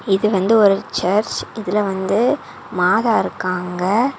இது வந்து ஒரு சர்ச் இதுல வந்து மாதா இருக்காங்க.